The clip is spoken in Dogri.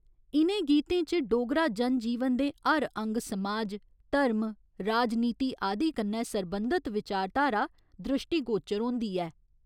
इ'नें गीतें च डोगरा जनजीवन दे हर अंग समाज, धर्म, राजनीति आदि कन्नै सरबंधत विचारधारा द्रिश्टीगोचर होंदी ऐ।